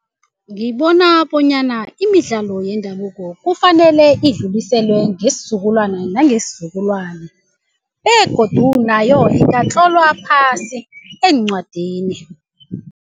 Ngibona bonyana imidlalo yendabuko kufanele idluliselwe ngesizukulwana nangesizukulwana begodu nayo ingatlolwa phasi eencwadini.